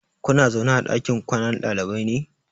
Kuna zaune a ɗakin kwanan ɗalibai ne?